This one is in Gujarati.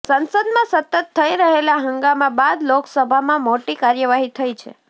સંસદમાં સતત થઈ રહેલા હંગામા બાદ લોકસભામાં મોટી કાર્યવાહી થઈ છે